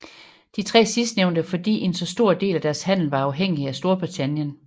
De 3 sidstnævnte fordi en så stor del af deres handel var afhængig af Storbritannien